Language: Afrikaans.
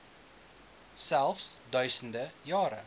selfs duisende jare